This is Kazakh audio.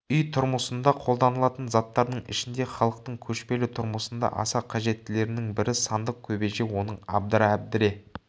үй тұрмысында қолданылатын заттардың ішінде халықтың көшпелі тұрмысында аса қажеттілерінің бірі сандық кебеже оның абдыра әбдіре